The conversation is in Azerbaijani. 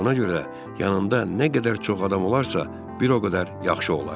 Buna görə də yanında nə qədər çox adam olarsa, bir o qədər yaxşı olar.